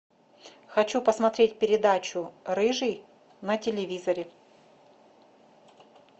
хочу посмотреть передачу рыжий на телевизоре